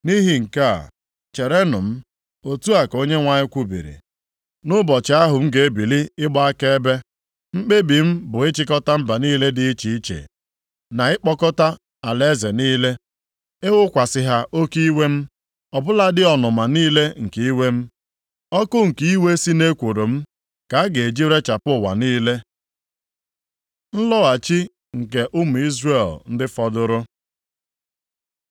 Nʼihi nke a, cherenụ m,” otu a ka Onyenwe anyị kwubiri, “nʼụbọchị ahụ m ga-ebili ịgba akaebe. + 3:8 Ụbọchị m ga-ebili ịkwata ihe Mkpebi m bụ ịchịkọta mba niile dị iche iche, na ịkpọkọta alaeze niile, ịwụkwasị ha oke iwe m, ọ bụladị ọnụma niile nke iwe m. Ọkụ, nke iwe si nʼekworo m, ka a ga-eji rechapụ ụwa niile. Nlọghachi nke ụmụ Izrel ndị fọdụrụ